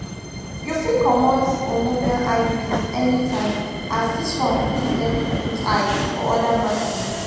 you fit comot hormonal iuds anytime as this one fit help you put eyes for other matters.